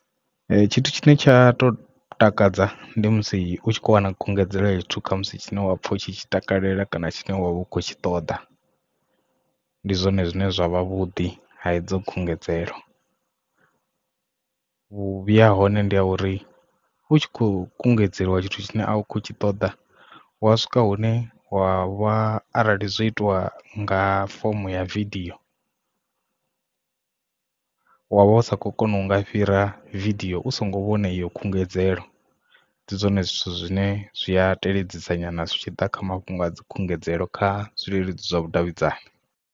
Tshithu tshine tsha to takadza ndi musi u tshi kho wana khungedzelo ya zwithu kha musi tshine wa pfha u tshi tshi takalela kana tshine wavha u kho tshi ṱoḓa ndi zwone zwine zwa vhavhuḓi ha idzo khungedzelo. Vhuvhi ha hone ndi a uri u tshi kho kungedzelwa tshithu tshine a u khou tshi ṱoḓa wa swika hune wa vha arali zwo itiwa nga fomo ya vidio u wavha usa kho kona u nga fhira vidio u songo vhone iyo khungedzelo ndi zwone zwithu zwine zwi a teledza nyana zwi tshi ḓa kha mafhungo a dzi khungedzelo kha zwileludzi zwa vhudavhidzani.